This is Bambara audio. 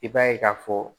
I b'a ye k'a fɔ